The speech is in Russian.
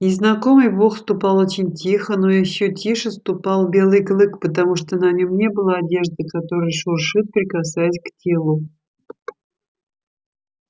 незнакомый бог ступал очень тихо но ещё тише ступал белый клык потому что на нём не было одежды которая шуршит прикасаясь к телу